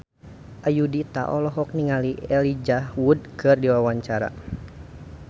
Ayudhita olohok ningali Elijah Wood keur diwawancara